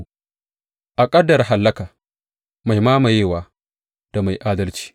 A ƙaddara hallaka, mai mamayewa da mai adalci.